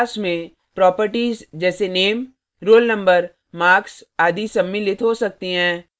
student class में properties जैसे name roll number marks आदि सम्मिलित हो सकती हैं